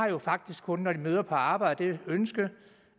jo faktisk kun når de møder på arbejde har det ønske